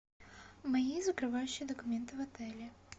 мои закрывающие документы в отеле